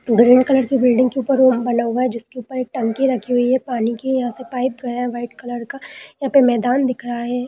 Green colour की building के ऊपर हुआ है जिसके ऊपर एक टंकी रखी हुई है पानी की यहाँ पे पाइप गया है वाइट कलर का एक मैदान दिख रहा है।